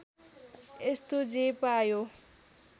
यस्तो जे पायो